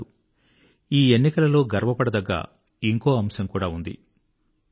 అంతేకాదు ఈ ఎన్నికలలో గర్వపడదగ్గ ఇంకో అంశం కూడా ఉంది